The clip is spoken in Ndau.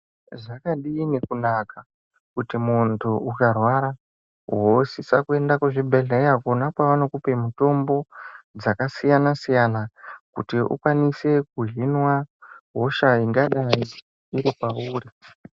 Zvakadini kunaka kuti mundu ukarwara wosisa kuenda kuzvibhedhlera kona kwavanokupa mutombo dzakasiyana siyana kuti ukwanise kuzvinwa hosha ingadayi iri pauri.